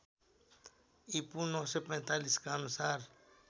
ईपू ९४५ का अनुसार